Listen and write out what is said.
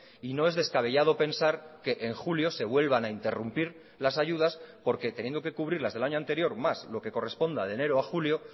y no es descabellado pensar que en julio se vuelvan a interrumpir las ayudas porque teniendo que cubrir las del año anterior más lo que corresponda de enero a julio